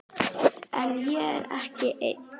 En ég er ekki einn.